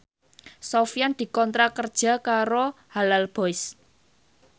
Sofyan dikontrak kerja karo Halal Boys